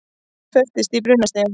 Festist í brunastiga